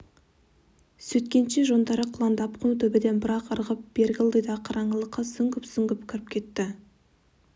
сөйткенше жондары қылаңдап құм төбеден бір-ақ ырғып бергі ылдидағы қараңғылыққа сүңгіп-сүңгіп кіріп кетті